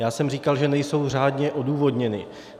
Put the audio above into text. Já jsem říkal, že nejsou řádně odůvodněny.